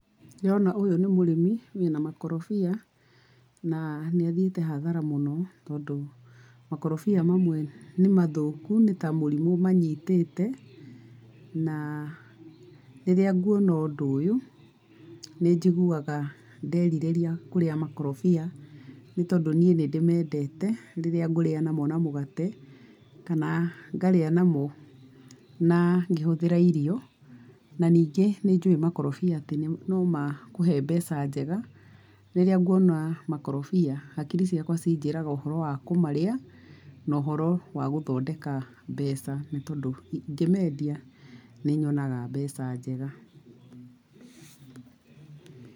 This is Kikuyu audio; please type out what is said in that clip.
Ndĩrona ũyũ nĩ mũrĩmi wĩ na makorobia na nĩ athiĩte hathara mũno tondũ makorobia mamwe nĩ mathũku, nĩ ta mũrimũ manyitĩte. Na rĩrĩa nguona ũndũ ũyũ nĩ njigũaga nderirĩria kũrĩa makorobia nĩ tondũ niĩ nĩ ndĩmendete rĩrĩa ngũrĩa na mũgate, kana ngarĩa namo na ngĩhũthĩra irio. Na ningĩ nĩ njũĩ makorobia atĩ no makũhe mbeca njega rĩrĩa nguona makorobia, hakiri ciakwa injĩraga ũhoro wa kũmarĩa na ũhoro wa gũthondeka mbeca nĩ tondũ ingĩmendia nĩ nyonaga mbeca njega.